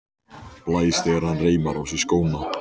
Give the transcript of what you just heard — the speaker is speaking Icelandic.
Blæs þegar hann reimar á sig skóna.